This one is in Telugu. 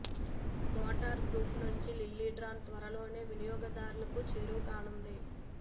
మోటా గ్రూప్ నుంచి లిల్లీ డ్రోన్ త్వరలోనే వినియోగదారులకు చేరువకానుంది